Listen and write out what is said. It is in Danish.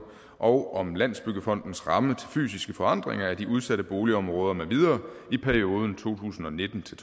og om landsbyggefondens ramme til fysiske forandringer af de udsatte boligområder med videre i perioden to tusind og nitten til